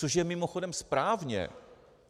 Což je mimochodem správně.